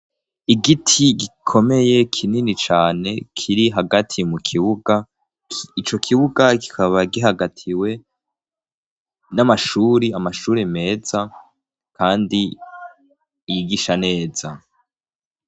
Igiti gikomeye kinini cane kiri hagati mu kibuga ico kibuga kikaba gihagatiwe n'amashuri amashuri meza, kandi yigisha neza.